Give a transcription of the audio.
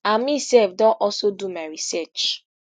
and mesef don also do my research